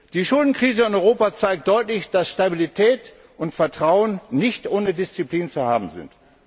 Die Schuldenkrise in Europa zeigt deutlich, dass Stabilität und Vertrauen nicht ohne Disziplin zu haben sind.